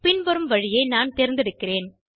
பின்வரும் வழியை நான் தேர்ந்தெடுக்கிறேன்